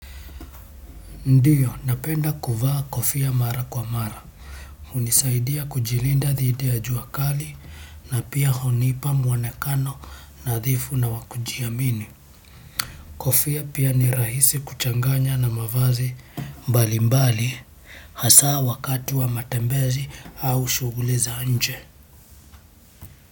Ndiyo napenda kuvaa kofia mara kwa mara hunisaidia kujilinda dhidi ya jua kali na pia hunipa mwonekano nadhifu na wa kujiamini kofia pia ni rahisi kuchanganya na mavazi mbalimbali hasa wakati wa matembezi au shughuli za nje.